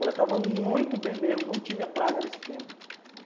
Coletava muito bem mesmo, não tinha praga nesse tempo.